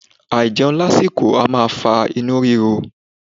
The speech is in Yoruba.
Aijẹun lásìkò a maa fa inu riro